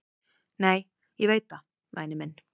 """Nei, ég veit það, væni minn."""